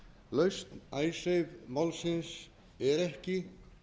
lausn icesave málsins er ekki